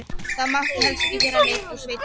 Það mátti helst ekki vera neinn úr sveitinni.